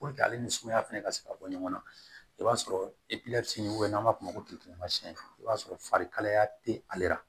ale ni sumaya fɛnɛ ka se ka bɔ ɲɔgɔn na i b'a sɔrɔ n'an b'a f'o ma i b'a sɔrɔ fari kalaya te ale la